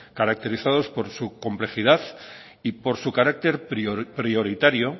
caracterizados por su complejidad y por su carácter prioritario